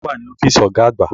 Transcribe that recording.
Ta ni ó wà ní ọ́fíìsì ọ̀gá àgbà?